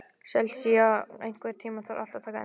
Sesilía, einhvern tímann þarf allt að taka enda.